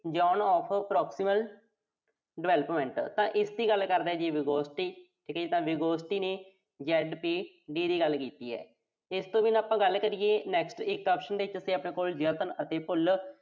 Zone Of Proximal Development ਤਾਂ ਇਸ ਦੀ ਗੱਲ ਕਰਦਾ ਜੀ Vygotsky ਤਾਂ Vygotsky ਨੇ ZPD ਦੀ ਗੱਲ ਕੀਤੀ ਐ। ਇਸ ਤੋਂ ਬਿਨਾਂ ਆਪਾਂ ਗੱਲ ਕਰੀਏ ਤਾ ਇੱਕ option ਦੇ ਵਿੱਚ ਸੀ ਆਪਣੇ ਕੋਲ ਯਤਨ ਅਤੇ ਭੁੱਲ